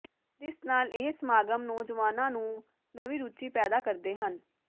ਜਿਸ ਨਾਲ ਇਹ ਸਮਾਗਮ ਨੌਜਵਾਨਾਂ ਨੂੰ ਨਵੀਂ ਰੁਚੀ ਪੈਦਾ ਕਰਦੇ ਹਨ